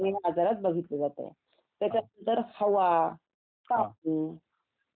हे आजारात बघितल्या जातं त्याच्या नंतर हवा कापूर अन्न